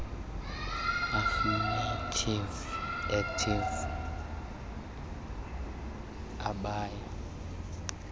affirmative action abaya